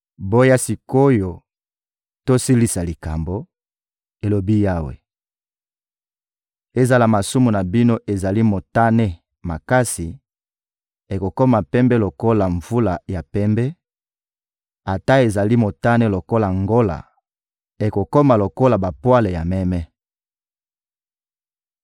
Boya sik’oyo, tosilisa likambo,» elobi Yawe. «Ezala masumu na bino ezali motane makasi, ekokoma pembe lokola mvula ya pembe; ata ezali motane lokola ngola, ekokoma lokola bapwale ya meme.